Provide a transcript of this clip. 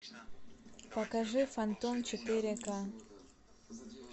покажи фантом четыре ка